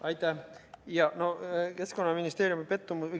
Aitäh!